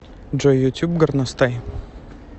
джой ютюб горностай